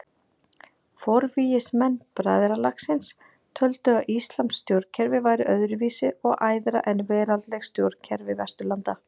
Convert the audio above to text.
Forvígismenn bræðralagsins töldu að íslamskt stjórnkerfi væri öðru vísi og æðra en veraldleg stjórnkerfi Vesturlanda.